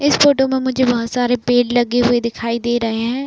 इस फोटो में मुझे बहोत सारे पेड़ लगे हुए दिखाई दे रहे हैं।